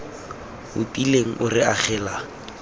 o tiileng o re agelelang